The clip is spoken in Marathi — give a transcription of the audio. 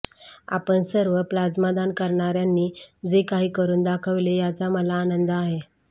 आपण सर्व प्लाझ्मादान करणाऱ्यांनी जे काही करुन दाखविले याचा मला आनंद आहे